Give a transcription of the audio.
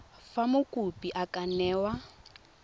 fa mokopi a ka newa